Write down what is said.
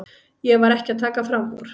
Ég var ekki að taka fram úr.